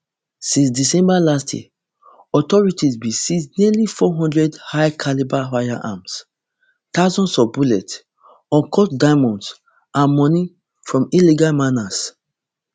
since december last year authorities bin seize nearly four hundred highcalibre firearms thousands of bullets uncut diamonds and money from illegal miners